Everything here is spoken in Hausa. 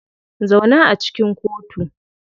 Zauna a cikin kotu.